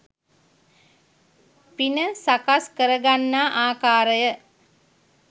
පින සකස් කරගන්නා ආකාරය